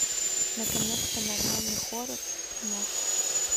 наконец то нормальный хоррор куплинов